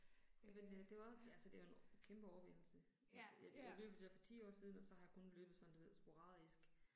Jamen øh det er jo og, altså det er jo en kæmpe overvindelse. Altså jeg jeg løb jo der for 10 år siden og så har jeg kun løbet sådan du ved sporadisk